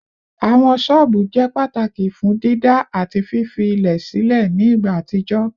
Awọn ṣọọbu jẹ pataki fun dida ati fifi ilẹ silẹ ni igba atijọ